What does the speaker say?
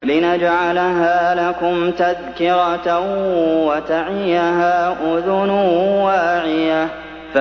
لِنَجْعَلَهَا لَكُمْ تَذْكِرَةً وَتَعِيَهَا أُذُنٌ وَاعِيَةٌ